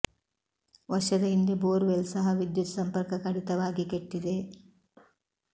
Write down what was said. ವರ್ಷದ ಹಿಂದೆ bore well ಸಹ ವಿದ್ಯುತ್ ಸಂಪರ್ಕ ಕಡಿತವಾಗಿ ಕೆಟ್ಟಿದೆ